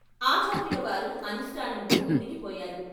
ఆచార్యులవారు అనుష్ఠానంలో మునిగిపోయారు.